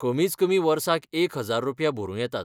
कमीच कमी वर्साक एक हजार रुपया भरूं येतात.